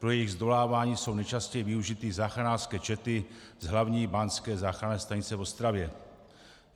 Pro jejich zdolávání jsou nejčastěji využity záchranářské čety z Hlavní báňské záchranné stanice v Ostravě.